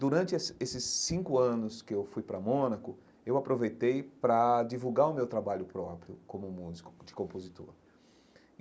Durante esse esses cinco anos que eu fui para Mônaco, eu aproveitei para divulgar o meu trabalho próprio como músico de compositor.